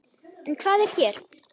En hvað er hér?